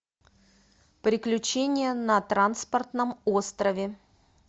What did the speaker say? приключения на транспортном острове